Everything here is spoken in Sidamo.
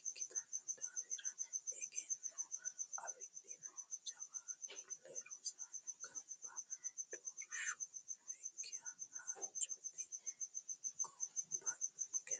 ikkittano daafira egenno afidhino jawaatule rosiisano gaama doorshu nooyikki hajjoti gobbankera.